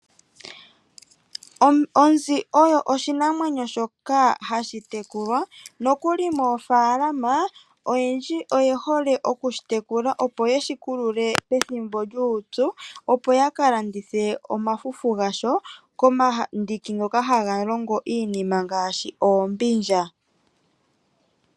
Onzi oyo oshinamwenyo shoka hashi tekulwa nokuli mofaalama oyendji oye hole okushi tekula opo yeshikulule pethimbo lyupyu opo ya kalandithe omafufu gasho komandiki ngo haga longo iinima ngaashi oombindja .